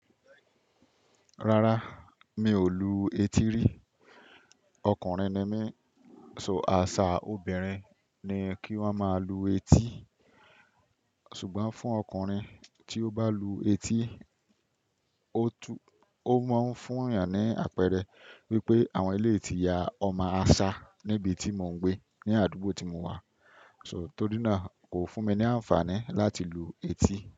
Rárá, mi ò lu etí rí. Ọkùnrin ni mí, so àṣà obìnrin ni kí wọ́n máa lu etí. Ṣùgbọ́n fún ọkùnrin tí ó bá lu etí, ó máa ń fún ìyàn ní àpẹẹrẹ wípé àwọn ilé tí ya ọmọ àṣá níbi tí mò ń gbé ní àdúgbò tí mo wà. So torí náà kò fún mi ní àǹfààní láti lu etí.